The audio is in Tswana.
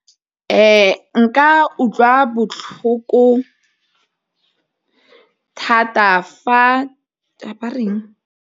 nka utlwa botlhoko thata fa .